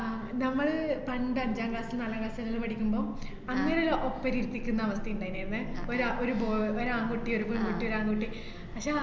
ആഹ് നമ്മൾ പണ്ട് അഞ്ചാം class ലും നാലാം class ലുവെല്ലാം പഠിക്കുമ്പം അന്നേരം ഒപ്പരം ഇരിത്തിക്കുന്ന അവസ്ഥേണ്ടായിര്ന്ന് ന്നെ. ഒരാ~ ഒരു bo~ ഒരാൺകുട്ടി ഒരു പെൺകുട്ടി ഒരു ആൺകുട്ടീ പക്ഷേ അ~